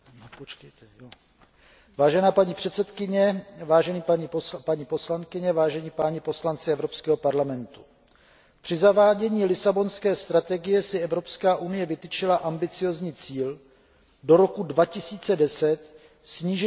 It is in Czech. Vážená paní předsedkyně, vážené paní poslankyně, vážení páni poslanci Evropského parlamentu, při zavádění Lisabonské strategie si Evropská unie vytyčila ambiciózní cíl do roku 2010 snížit významnou měrou chudobu.